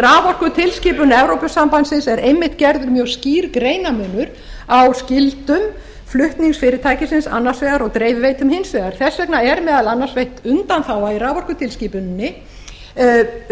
raforkutilskipun evrópusambandsins er einmitt gerð mjög skýr greinarmunur á skyldum flutningsfyrirtækisins annars vegar og dreifiveitum hins vegar þess vegna er meðal annars veitt undanþága í raforkutilskipuninni